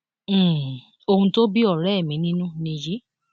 um ohun tó bí ọrẹ mi nínú nìyí